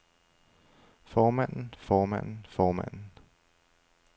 formanden formanden formanden